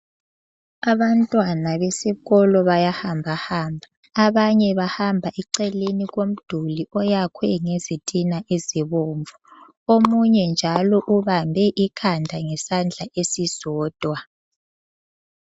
Abantwana besikolo bayahambahamba, abanye bahamba eceleni komduli oyakhwe ngezitina ezibomvu. Omunye njalo ubambe ikhanda ngesandla esisodwa.